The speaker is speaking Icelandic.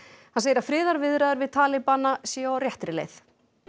hann segir að friðarviðræður við talibana séu á réttri leið